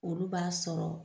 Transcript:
Olu b'a sɔrɔ